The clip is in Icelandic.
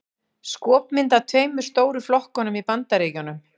Skopmynd af tveimur stóru flokkunum í Bandaríkjunum.